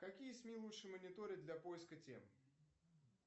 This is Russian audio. какие сми лучше мониторить для поиска тем